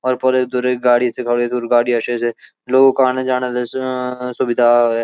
और फुडे धुरे गाड़ी लोगुं कु आना ज़ाना स सुबिधा है।